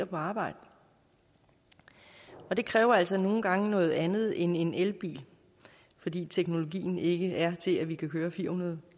på arbejde og det kræver altså nogle gange noget andet end en elbil fordi teknologien ikke er til at vi kan køre fire hundrede